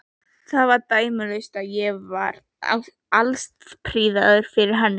Þetta var dæmalaust, ég var alstrípaður fyrir henni.